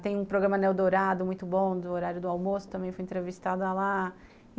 Tem um programa neo-dourado muito bom, do horário do almoço, também fui entrevistada lá.